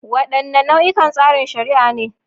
Wadanne nau'ikan tsarin shari'a ne?